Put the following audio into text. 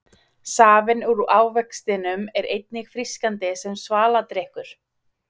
Safinn úr ávextinum er einnig frískandi sem svaladrykkur.